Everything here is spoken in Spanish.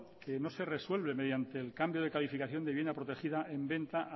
que no se resuelve mediante el cambio de calificación de vivienda protegida en venta a